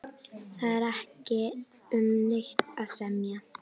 Það er ekki um neitt að semja